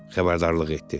Xəbərdarlıq etdi.